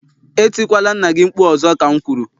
Etikwala nna gị mkpu ọzọ ka m kwuru!